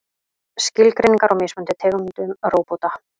Skilgreiningar á mismunandi tegundum róbóta.